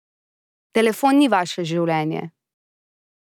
Telefon ni vaše življenje.